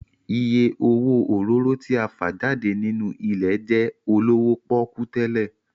Ìyè owó òróró tí a fà jáde nínú ilẹ̀ jẹ́ olówó pọ́kú tẹ́lẹ̀